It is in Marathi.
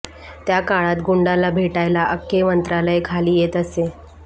त्या काळात गुंडाला भेटायला अख्खे मंत्रालय खाली येत असे